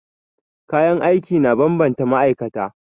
Kayan aiki na bambanta ma'aikata.